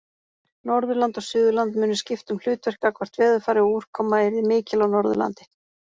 Norðurland og Suðurland mundu skipta um hlutverk gagnvart veðurfari og úrkoma yrði mikil á Norðurlandi.